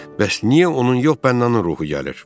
Bəs niyə onun yox, bənnalının ruhu gəlir?